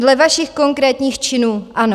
Dle vašich konkrétních činů ano.